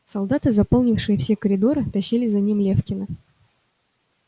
солдаты заполнившие все коридоры тащили за ним лефкина